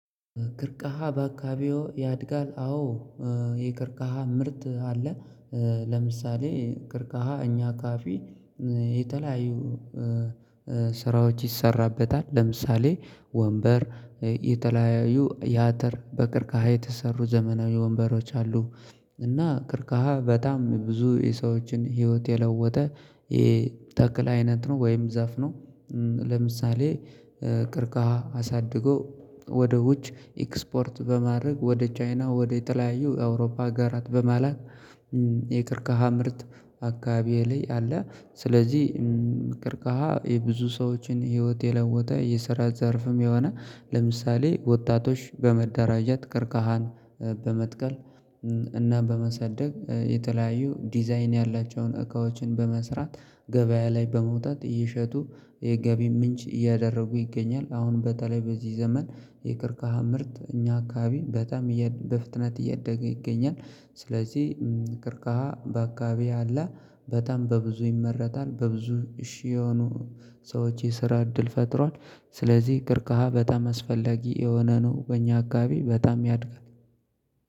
ክርቅሃ በአካባቢው ያድጋል አዎ የክርቃሃ ምርት አለ። ለምሳሌ ክርቅሃ እኛ አካባቢ የተለያዩ ስራዎች ይሰራበታል ለምሳሌ ወንበር የተለያዩ ያተር በቅርቃሃ የተሰሩ ዘመናዊ ወንበሮች አሉ። እና ክርካሃ በጣም ብዙ የሰዎችን ህይወት የለወጠ ይሄ ተክል አይነት ነው ወይም ዛፍ ነው። ለምሳሌ ቅርቃሃ አሳድጎ ወደ ውጭ ኤክስፖርት በማድረግ ወደ ቻይና ወደ የተለያየው የአውሮፓ አገራት በመላክ የክርክራ ምርት አካባቢየ ላይ አለ። ስለዚህ ቅርቀሃ የብዙ ሰዎችን ህይወት የለወጠ የስራ ዘርፍም የሆነ ለምሳሌ ወጣቶች በመደራጀት ቀርቀሃን በመትከል እና በማሳደግ የተለያዩ ዲዛይን ያላቸውን እቃዎችን በመስራት ገበያ ላይ በመውጣት እየሸጡ የገቢ ምንጭ እያደረጉ ይገኛል። አሁን በተለይ በዚህ ዘመን የክርካሃ ምርት እኛ አካባቢ በጣም በፍጥነት እያደገ ይገኛል። ስለዚህ ቅርቃሃ በአካባቢው ያለ በጣም በብዙ ይመረታል በብዙ እሺ የሆኑ ሰዎች የስራ እድል ፈጥሯል። ስለዚህ ቅርቃሃ በጣም አስፈለጊ የሆነ ነው በእኛ አካባቢ በጣም ያድጋል።